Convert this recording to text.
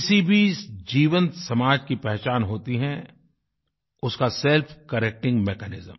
किसी भी जीवनसमाज की पहचान होती है उसका सेल्फ करेक्टिंग Mechanism